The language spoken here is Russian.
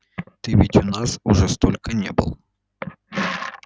ты ведь у нас уже сколько не был